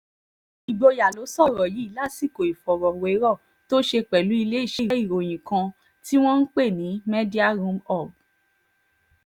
ìgboyàló sọ̀rọ̀ yìí lásìkò ìfọ̀rọ̀wérọ̀ tó ṣe pẹ̀lú iléeṣẹ́ ìròyìn kan tí wọ́n ń pè ní mediaroomhoob